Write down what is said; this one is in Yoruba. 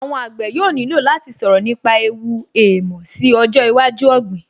Àwọn àgbẹ̀ yóò nílò láti sọ̀rọ̀ nípa ẹ̀wù èèmọ̀ sí ọjọ́ iwájú ọ̀gbìn